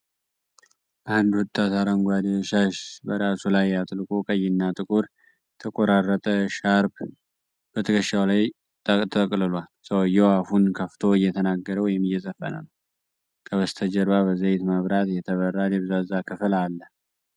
አንድ ወጣት አረንጓዴ ሻሽ በራሱ ላይ አጥልቆ፣ ቀይና ጥቁር የተቆራረጠ ሻርፕ በትከሻው ላይ ተጠቅልሏል። ሰውየው አፉን ከፍቶ እየተናገረ ወይም እየዘፈነ ነው። ከበስተጀርባ በዘይት መብራት የተበራ ደብዛዛ ክፍል አለ።